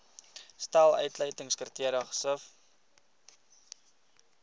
stel uitsluitingskriteria gesif